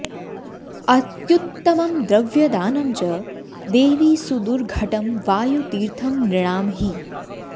अत्युत्तमं द्रव्यदानं च देवि सुदुर्घटं वायुतीर्थं नृणां हि